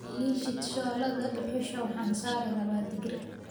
Ii shid shooladda dhuxusha waxan sari rabaa digir